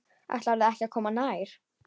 Ætlarðu ekki að koma nær?